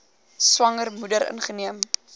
swanger moeder ingeneem